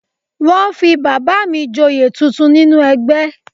Wọ́n fi bàbà mi Ìjòyè tuntun nínú ẹgbẹ́